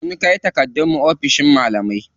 Mun kai takardun my oficin malamai.